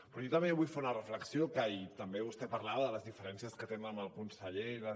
però jo també vull fer una reflexió que també vostè parlava de les diferències que tenen amb el conseller i les